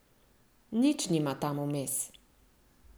Nič nima tam vmes ...